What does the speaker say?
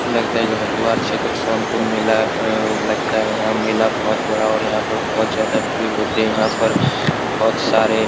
लगता है जो हरिद्वार क्षेत्र सोनपुर मेला अ-अ लगता है यहाँ मेला बहुत बड़ा और यहाँ पर बहुत ज्यादा भीड़ होतें हैं यहाँ पर बहुत सारे --